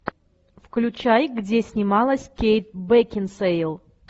включай где снималась кейт бекинсейл